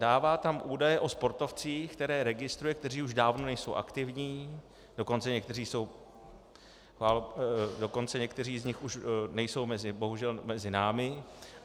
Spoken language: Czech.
Dává tam údaje o sportovcích, které registruje, kteří už dávno nejsou aktivní, dokonce někteří z nich už nejsou bohužel mezi námi.